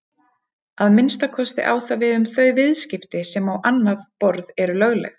Að minnsta kosti á það við um þau viðskipti sem á annað borð eru lögleg.